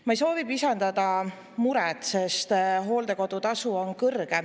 Ma ei soovi pisendada seda muret, sest hooldekodutasu on kõrge.